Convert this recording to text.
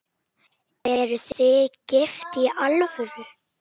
Eruð þið gift í alvöru?